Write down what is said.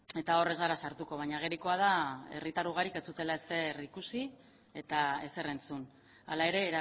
eta hor ez gara sartuko baina agerikoa da herritar ugarik ez zutela ezer ikusi eta ezer entzun hala ere